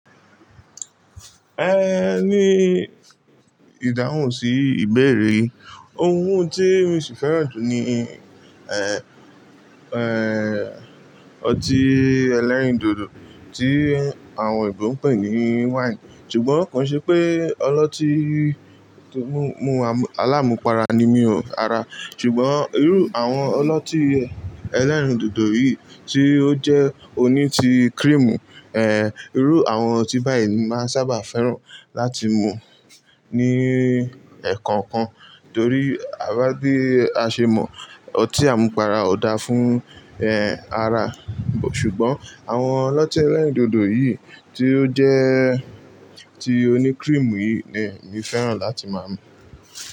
Ẹ ní ìdáhùn sí ìbéèrè yin Ohun tí mo sì fẹ́ràn jù ni, ẹ, ẹ, ọtí ẹlẹ́rìndòdò tí àwọn oyinbò ń pè ní wáìnì. Ṣùgbọ́n kò n ṣe pé ọlọ́tí mú àmú-- aláàmúpara ni mí o, rara. Ṣùgbọ́n irú àwọn ọlọ́tí ẹlẹ́rìndòdò yìí tí ó jẹ́ oní ti creamu, ẹ, irú àwọn ọtí báyìí ni máa sábà fẹ́ràn láti mu ní ẹ̀kookan, torí à bá dé a ṣe mọ̀ ọtí àmupara ò dáa fún, ẹ, ara. Ṣùgbọ́n àwọn ọlọ́tí ẹlẹ́rìndòdò yìí tí ó jẹ́ ti oní creamu yìí ni mí fẹ́ràn láti máa mu.